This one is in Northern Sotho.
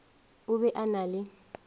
o be o na le